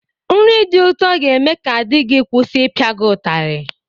Nri dị ụtọ ga-eme ka di gị kwụsi ịpịa gị ụtarị.